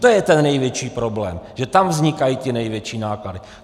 To je ten největší problém, že tam vznikají ty největší náklady.